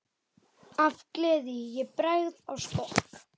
Af gleði ég bregð á skokk.